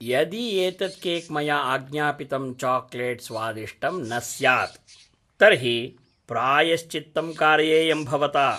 यदि एतत् केक् मया आज्ञापितं चाकलेट् स्वादिष्टं न स्यात्, तर्हि प्रायश्चित्तं कारयेयं भवता!